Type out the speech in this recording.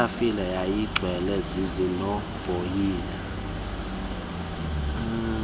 itafile yayigcwele zizinovoyiya